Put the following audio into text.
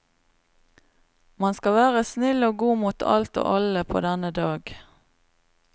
Man skal være snill og god mot alt og alle på denne dag.